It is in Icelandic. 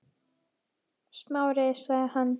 Smári- sagði hann.